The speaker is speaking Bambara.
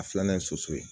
A filanan ye soso ye